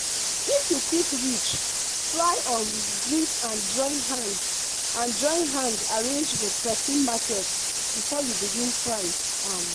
if you quick reach try um greet and join hand and join hand arrange the persin market before you begin price. um